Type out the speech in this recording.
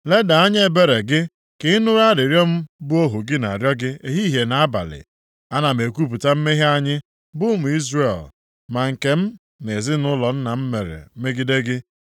Leda anya ebere gị ka ị nụrụ arịrịọ mụ bụ ohu gị na-arịọ gị ehihie na nʼabalị. Ana m ekwupụta mmehie anyị bụ ụmụ Izrel, ma nke m na ezinaụlọ nna m mere megide gị.